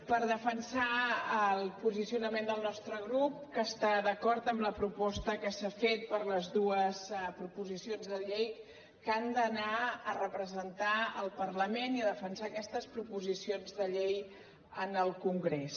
per defensar el posicionament del nostre grup que està d’acord amb la proposta que s’ha fet per les dues proposicions de llei que han d’anar a representar el parlament i defensar aquestes proposicions de llei al congrés